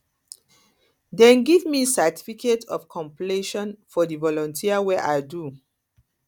dem give me certificate of completion for di volunteer wey i do